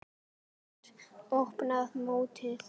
Mót: Opna mótið